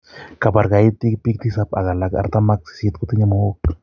kapaar kaityeg piik tisap ko alak artam ak sisit kotinye mook